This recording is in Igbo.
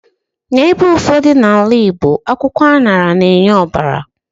N'ebe ụfọdụ n'ala Igbo, akwụkwọ aṅara na-enye ọbara